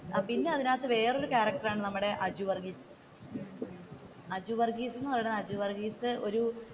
അപ്പൊ പിന്നെ അതിന്റെ അകത്തു വേറെയൊരു ക്യാരക്ടർ ആണ് നമ്മുടെ അജു വര്‍ഗ്ഗീസ് അജു വര്‍ഗ്ഗീസ് അജു വര്ഗീസ് ഒരു